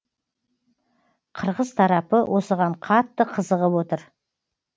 қырғыз тарапы осыған қатты қызығып отыр